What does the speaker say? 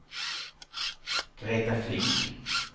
Greta Flink